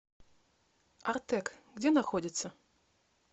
артэк где находится